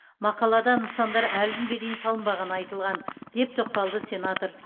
мақалада нысандар әлі күнге дейін салынбағаны айтылған деп тоқталды сенатор